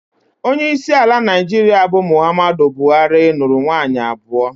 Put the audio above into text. Onyeisi ala Naịjirịa bụ Muhammadu Buhari, nụrụ nwaanyị abụọ